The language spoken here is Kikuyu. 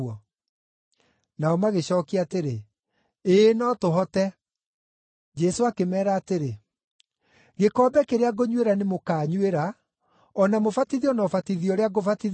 Nao magĩcookia atĩrĩ, “Ĩĩ no tũhote.” Jesũ akĩmeera atĩrĩ, “Gĩkombe kĩrĩa ngũnyuĩra nĩ mũkaanyuĩra, o na mũbatithio na ũbatithio ũrĩa ngũbatithio naguo.